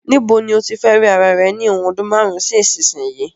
Ni bo ni o tí fe ri ara rẹ ni ìwòn odún marun si isínsìnyí